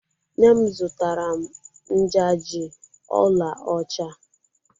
Nne m zụtara m njaji ọla ọcha.